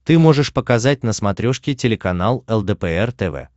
ты можешь показать на смотрешке телеканал лдпр тв